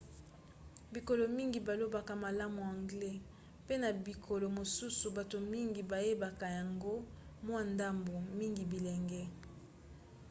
bikolo mingi balobaka malamu anglais mpe na bikolo mosusu bato mingi bayebaka yango mwa ndambu - mingi bilenge